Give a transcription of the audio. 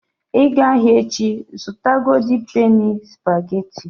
Ị gaa ahịa echi, zụta golden penny spageti.